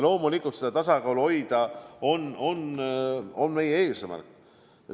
Loomulikult on seda tasakaalu hoida meie eesmärk.